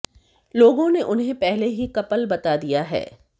लोगों ने उन्हें पहले ही कपल बता दिया है